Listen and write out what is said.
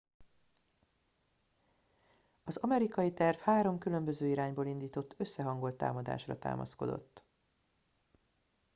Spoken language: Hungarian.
az amerikai terv három különböző irányból indított összehangolt támadásra támaszkodott